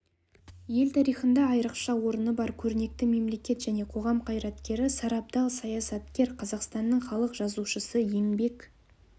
ел тарихында айрықша орны бар көрнекті мемлекет және қоғам қайраткері сарабдал саясаткер қазақстанның халық жазушысы еңбек